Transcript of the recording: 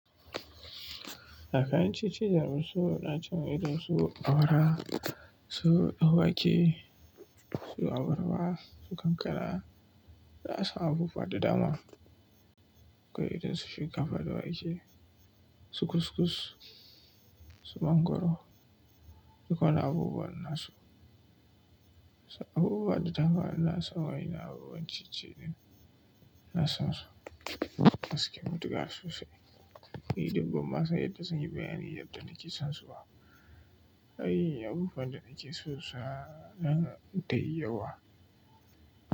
Akai cincin jarumai suna cikin ido, su awara, su dan wake, su awarwa, su kankara, da sa abubuwa da dama. Kai idon su shinkafa da wake, su kuskus, su mangwaro, duk wani abubuwan nasu. Abubuwan da dama wa na sa waye na abubuwan ciye-ciye na sansu. Aske mutu ga su sai idon bamasa yadda sun yi bayani yadda na ke son su ba. Ai abubuwan da na ke so sa na dai yawa.